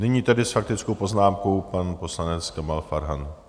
Nyní tedy s faktickou poznámkou pan poslanec Kamal Farhan.